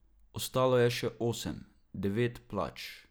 Ostalo je še osem, devet plač.